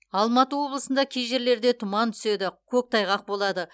алматы облысында кей жерлерде тұман түседі көктайғақ болады